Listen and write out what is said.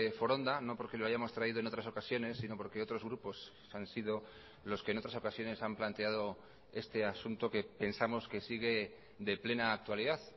foronda no porque lo hayamos traído en otras ocasiones sino porque otros grupos han sido los que en otras ocasiones han planteado este asunto que pensamos que sigue de plena actualidad